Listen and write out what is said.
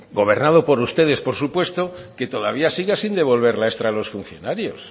gobernado por ustedes por supuesto que todavía siga sin devolver la extra a los funcionarios